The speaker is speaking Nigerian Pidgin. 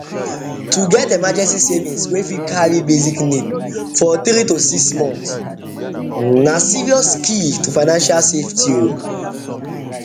to get emergency savings wey fit carry basic needs for 3 to 6 months na serious key to financial safety